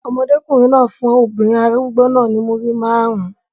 Ọmọdékùnrin náà fún obìnrin arúgbó náà ní Múrí márùn-ún.